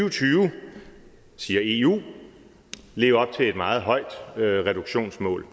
og tyve siger eu leve op til et meget højt reduktionsmål